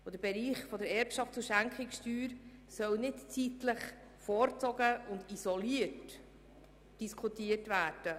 Der Bereich der Erbschafts- und Schenkungssteuer soll nicht vorgezogen und isoliert diskutiert werden.